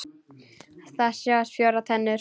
Það sáust fjórar tennur.